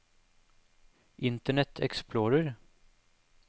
internet explorer